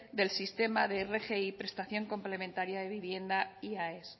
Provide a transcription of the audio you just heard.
del sistema de rgi prestación complementaria de vivienda y aes